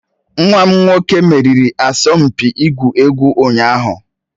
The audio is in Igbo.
Nwa m nwoke meriri asọmpi ịgwu egwu ụnyaahụ